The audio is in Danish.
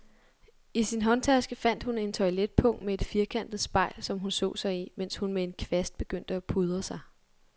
I sin håndtaske fandt hun et toiletpung med et firkantet spejl, som hun så sig i, mens hun med en kvast begyndte at pudre sig.